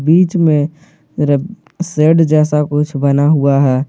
बीच में र सेड जैसा कुछ बना हुआ है।